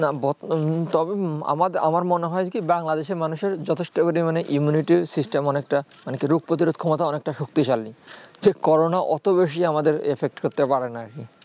না বর্তমান তবে আমার আমার মনে হয় কি বাংলাদেশের মানুষের যথেষ্ট পরিমাণে immunity system অনেকটা মানে কি রোগ প্রতিরোধ ক্ষমতা অনেকটা শক্তিশালী যে করোনা অত বেশি আমাদের effect করতে পারে না আর কি